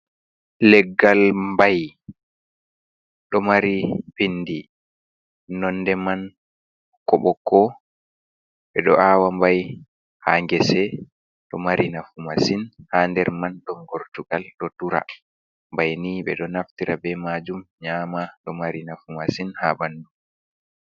Leggal mbai ɗo mari pindi nonde man ɓokko-ɓokko. Ɓe ɗo awa mbai ha ngese ɗo mari nafu masin. Ha nder man ɗon gortugal ɗo dura. Mbai ni ɓeɗo naftira be majum nyama ɗo mari nafu masin ha ɓandu.